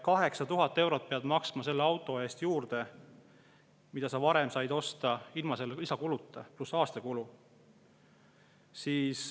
8000 eurot peab maksma juurde selle auto eest, mille varem sai osta ilma lisakuluta, pluss aastakulu.